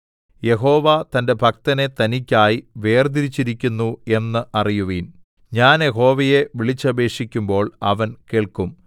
യഹോവ തന്റെ ഭക്തനെ തനിക്കായി വേർതിരിച്ചിരിക്കുന്നു എന്നറിയുവിൻ ഞാൻ യഹോവയെ വിളിച്ചപേക്ഷിക്കുമ്പോൾ അവൻ കേൾക്കും